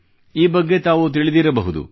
ಈ ಬಗ್ಗೆ ತಾವು ತಿಳಿದಿರಬಹುದು